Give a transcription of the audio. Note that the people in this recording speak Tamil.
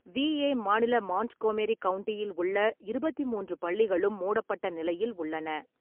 விஏ மாநில மாண்ட்கோமெரி கவுண்டியில் உள்ள இருபத்தி மூன்று பள்ளிகளும் மூடப்பட்ட நிலையில் உள்ளன.